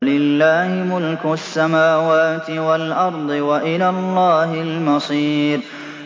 وَلِلَّهِ مُلْكُ السَّمَاوَاتِ وَالْأَرْضِ ۖ وَإِلَى اللَّهِ الْمَصِيرُ